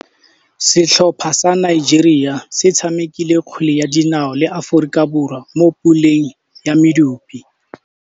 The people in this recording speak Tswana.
Setlhopha sa Nigeria se tshamekile kgwele ya dinaô le Aforika Borwa mo puleng ya medupe.